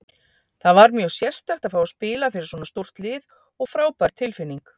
Það var mjög sérstakt að fá að spila fyrir svona stórt lið og frábær tilfinning.